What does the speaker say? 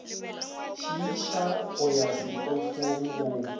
šiiša go ya setofong go